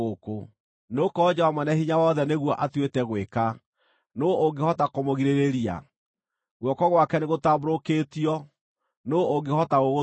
Nĩgũkorwo Jehova Mwene-Hinya-Wothe nĩguo atuĩte gwĩka, nũũ ũngĩhota kũmũgirĩrĩria? Guoko gwake nĩgũtambũrũkĩtio, nũũ ũngĩhota gũgũthuna?